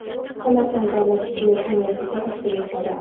Samarqand davlat tibbiyot universiteti tashkil etiladi.